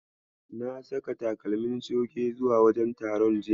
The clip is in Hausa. Na saka takalmi coge zuwa wajen taron jiya.